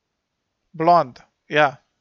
Blond, ja.